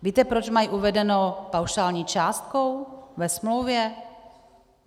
Víte, proč mají uvedenu paušální částku ve smlouvě?